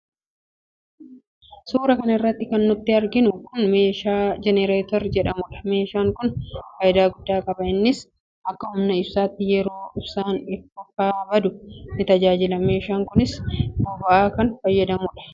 Suura kana irratti kan nuti arginu kun meeshaa "generator" jedhamudha. Meeshaan kun faayidaa guddaa qaba innis akka humna ibsaatti yeroo ibsaan faa baduu in tajaajila. Meeshaan kunis boba'aa kan fayyadamudha.